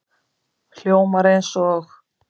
Hljómar eins og